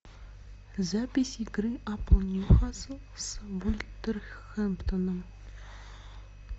запись игры апл ньюкасл с вулверхэмптоном